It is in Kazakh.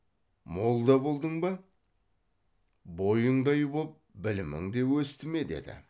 молда болдың ба бойыңдай боп білімің де өсті ме деді